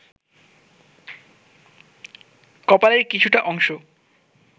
কপালের কিছুটা অংশ